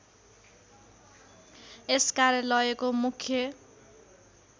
यस कार्यालयको मुख्य